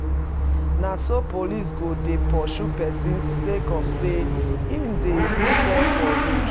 Na so police go dey pursue pesin sake of sey e dey sell for road.